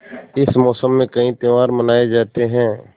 इस मौसम में कई त्यौहार मनाये जाते हैं